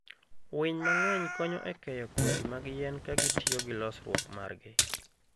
Winy mang'eny konyo e keyo kodhi mag yien ka gitiyo gi losruok margi.